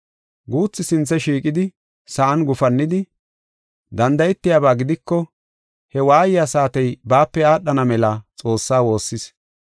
Guuthi sinthe shiiqidi, sa7an gufannidi, danda7etiyaba gidiko, he waayiya saatey baape aadhana mela, Xoossa woossis.